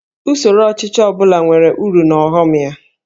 Usoro ọchịchị ọ bụla nwere uru na ọghọm ya